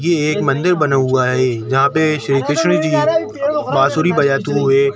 ये एक मंदिर बना हुआ हैजहाँ पे श्री कृष्ण जी बांसुरी बजाते हुए--